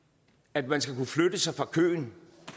at man skal kunne flytte sig fra køen